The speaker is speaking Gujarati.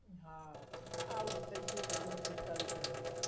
હા, આપડે આઉટ થઈ ગયો વહેલો પિસ્તાળીસ રન એ.